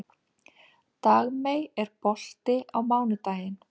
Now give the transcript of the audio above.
Dagmey, er bolti á mánudaginn?